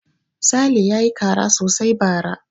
Sale ya yi kara sosai bara.